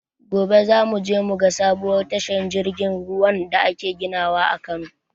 Gobe za mu je mu ga sabuwar tashar jirgin ruwan da ake ginawa a Kano